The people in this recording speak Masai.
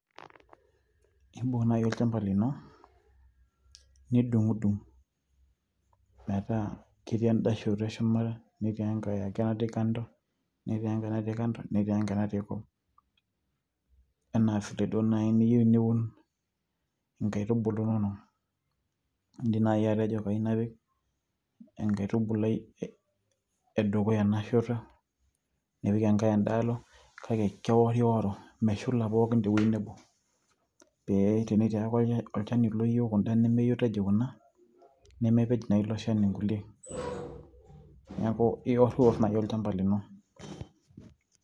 imbung naaji olchamba lino nidung'udung metaa ketii enda shoto e shumata netii enkae ake natii kando netii enkae natii kung enaa vile duo naaji niyieu niun inkaitubulu inonok, indim naaji atejo kayieu napik enkaitubulai e dukuya ena shoto nipik enkae enda alo kake keworiworo meshula pookin tewueji nebo pee tenetii ake olchani oyieu kuna nimiitaji kuna nemepej naa ilo shani inkulie neeku iworriwor naaji olchamba lino.